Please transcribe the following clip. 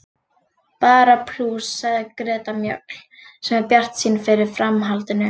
Bara plús, sagði Greta Mjöll sem er bjartsýn fyrir framhaldinu.